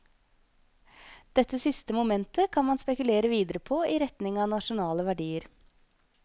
Dette siste momentet kan man spekulere videre på i retning av nasjonale verdier.